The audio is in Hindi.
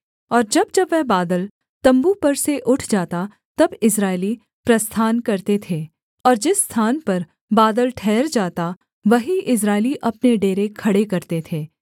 और जब जब वह बादल तम्बू पर से उठ जाता तब इस्राएली प्रस्थान करते थे और जिस स्थान पर बादल ठहर जाता वहीं इस्राएली अपने डेरे खड़े करते थे